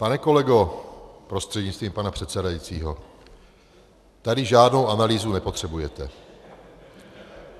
Pane kolego prostřednictvím pana předsedajícího, tady žádnou analýzu nepotřebujete.